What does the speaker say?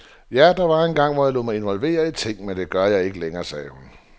Ja, der var engang, hvor jeg lod mig involvere i ting, men det gør jeg ikke længere, siger hun.